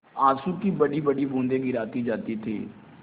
आँसू की बड़ीबड़ी बूँदें गिराती जाती थी